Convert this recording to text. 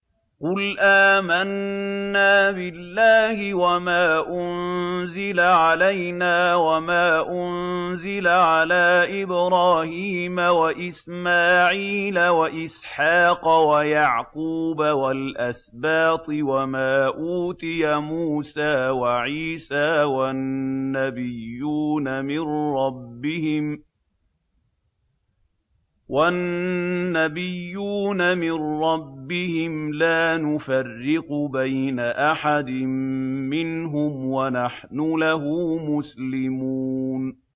قُلْ آمَنَّا بِاللَّهِ وَمَا أُنزِلَ عَلَيْنَا وَمَا أُنزِلَ عَلَىٰ إِبْرَاهِيمَ وَإِسْمَاعِيلَ وَإِسْحَاقَ وَيَعْقُوبَ وَالْأَسْبَاطِ وَمَا أُوتِيَ مُوسَىٰ وَعِيسَىٰ وَالنَّبِيُّونَ مِن رَّبِّهِمْ لَا نُفَرِّقُ بَيْنَ أَحَدٍ مِّنْهُمْ وَنَحْنُ لَهُ مُسْلِمُونَ